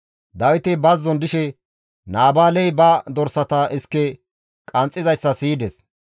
Dawiti bazzon dishe Naabaaley ba dorsata iske qanxxizayssa siyides.